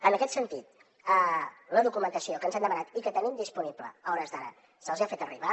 en aquest sentit la documentació que ens han demanat i que tenim disponible a hores d’ara se’ls hi ha fet arribar